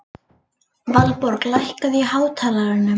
Valborg, lækkaðu í hátalaranum.